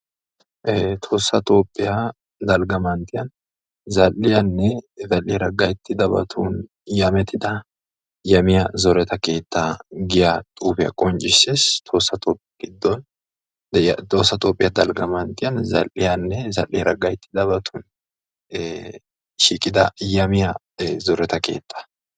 tohossa toophiya dalgga manttiyan zal'iyaanne zal'iyaara gayttidabatun yamettida yamiya zoretta keetta giya xuufiya qonccises.